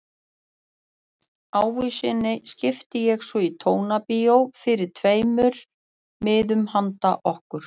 Ávísuninni skipti ég svo í Tónabíói fyrir tveimur miðum handa okkur.